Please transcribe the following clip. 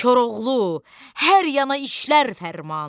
Koroğlu hər yana işlər fərmanın.